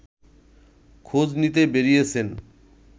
খোঁজ নিতে বেরিয়েছেন